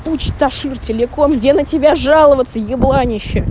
ташир телеком где на тебя жаловаться и буране